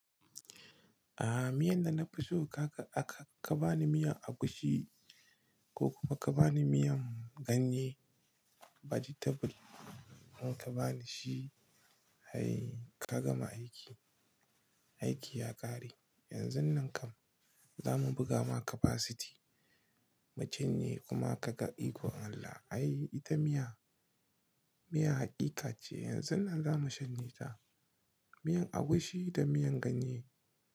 Aha, miyan da na fi so kaka aka ka ba ni miyan agushi ko kuma ka ba ni miyan ganye, vegetable kuma ka ba ni shi. Hai ka gama aiki. Aiki ya ƙare. Yanzun nan kam za mu buga ma capacity. Mutum ne kuma ka ga ikon Allah. Ai ita miya, miya haqiqa ce. Yanzun nan za mu shanye ta. Miyar agushi da miyan ganye.